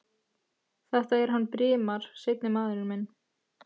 Þetta er hann Brimar. seinni maðurinn minn.